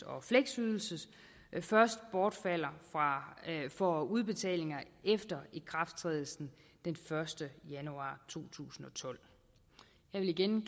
og fleksydelse først bortfalder for udbetalinger efter ikrafttrædelse den første januar to tusind og tolv jeg vil igen